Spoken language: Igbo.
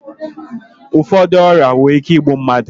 Ụfọdụ ọrịa nwere ike igbu mmadụ